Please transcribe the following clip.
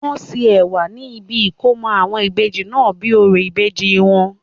wọ́n ṣe ẹ̀wà ní ibi ìkómọ àwọn Ìbejì náà bíi orò ìbejì wọn